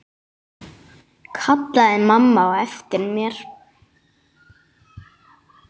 kallaði mamma á eftir mér.